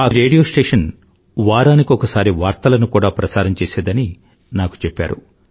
ఈ radio station వారానికొకసారి వార్తలను కూడా ప్రసారం చేసేదని నాకు చెప్పారు